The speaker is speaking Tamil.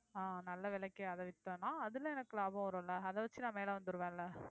அஹ் நல்ல விலைக்கு அதை வித்தோம்ன்னா அதிலே எனக்கு லாபம் வரும் இல்லை அதை வச்சு நான் மேலே வந்துருவேன் இல்லை